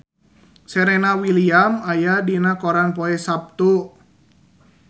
Serena Williams aya dina koran poe Saptu